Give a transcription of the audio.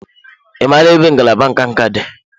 Ị maara ebe ngalaba nka nka dị?